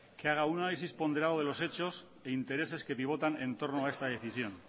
que haga un análisis ponderado de los hechos e intereses que pivotan en torno a esta decisión